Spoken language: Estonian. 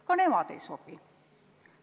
Ka nemad ei sobi!